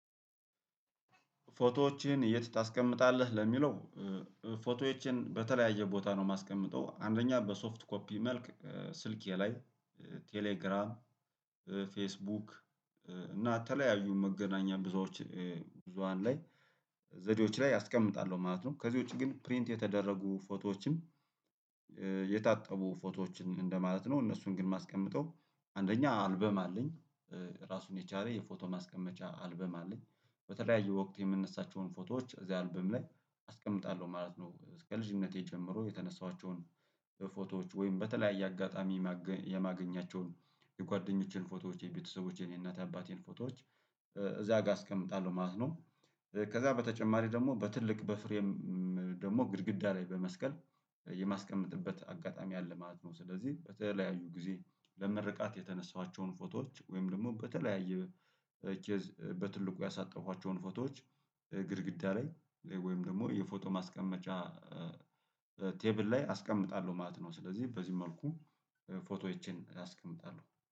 ፎቶዎችን የት ታስቀምጣለህ ለሚለው? ፎቶዎቼን በተለያየ ቦታ ነው የማስቀምጠው አንደኛ በሶፍት ኮፒ መልክ ስልኬ ላይ ቴሌግራም ፌስቡክ እና አተለያዩ መገናኛ ብዙሆች ብዙሃን ላይ ዘዴዎች ላይ አስቀምጣለሁ ማለት ነው። ከዚህ ውጪ ግን ፕሪንት የተደረጉ ፎቶዎችም የታጠቡ ፎቶዎችን እንደማለት ነው። እነሱን ግን ማስቀመጥ አንደኛ አልበም አለኝ ራሱን የቻለ የፎቶ ማስቀመጫ አልበም አለኝ በተለያየ ወቅት የምንነሳቸውን ፎቶዎች እዚህ አርብም ላይ አስቀምጣለሁ ማለት ነው። እስከ ልጅነቴ ጀምሮ የተነሳኋቸውን ፎቶዎች ወይም በተለያየ አጋጣሚ የማገኛቸውን የጓደኞቼን ፎቶዎች የቤተሰቦቼን የእናት የአባቴን ፎቶዎች እዛ ጋር አስቀምጣለሁ ማለት ነው። ከዛ በተጨማሪ ደግሞ በትልቅ በፍሬም ደግሞ ግድግዳ ላይ በመስቀል የማስቀመጥበት አጋጣሚ አለ ማለት ነው። ስለዚህ በተለያዩ ጊዜ ለመርቃት የተነሳኋቸውን ፎቶዎች ወይም ደግሞ በተለያየ ኬዝ በትልቁ ያሳጠብኳቸውን ፎቶዎች ግድግዳሬ ወይም ደግሞ የፎቶ ማስቀመጫ ቴብል ላይ አስቀምጣለሁ ማለት ነው። ስለዚህ በዚህ መልኩ ፎቶዎቼን አስቀምጣለሁ